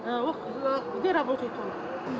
ыыы где работает он